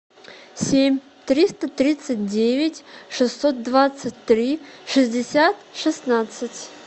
семь триста тридцать девять шестьсот двадцать три шестьдесят шестнадцать